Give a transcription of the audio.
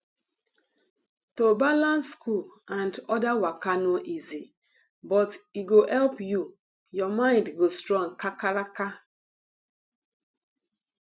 to balance school and other waka no easy but e go help you ur mind go strong kakaraka